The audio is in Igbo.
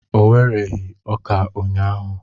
O wereghị ọka ụnyaahụ.